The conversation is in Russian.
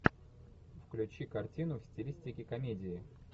включи картину в стилистике комедии